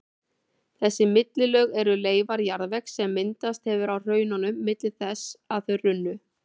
Þessi millilög eru leifar jarðvegs sem myndast hefur á hraununum milli þess að þau runnu.